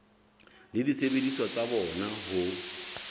le disebediswa tsa bona ho